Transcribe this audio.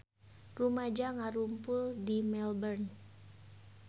Rumaja ngarumpul di Melbourne